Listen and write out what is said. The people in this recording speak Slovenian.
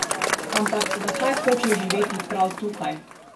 Ampak zakaj hoče živeti prav tukaj?